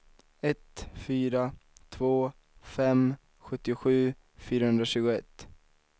ett fyra två fem sjuttiosju fyrahundratjugoett